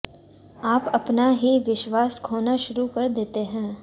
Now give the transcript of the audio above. आप अपना ही विश्वास खोना शुरू कर देते हैं